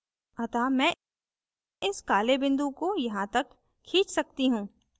अतः मैं इस काले बिंदु को यहाँ तक खींच सकती हूँ